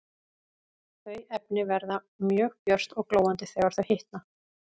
Þau efni verða mjög björt og glóandi þegar þau hitna.